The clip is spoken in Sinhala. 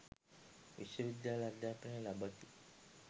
විශ්ව විද්‍යාල අධ්‍යාපනය ලබති